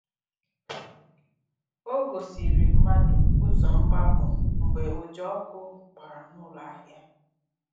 Ọ gòsìrì̀ mmadụ ụzọ́ mgbapụ̀ mgbe ụja ọkụ̀ gbara n’ụlọ ahịa.